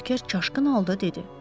Berker kaşqın halda dedi.